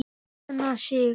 Signa sig?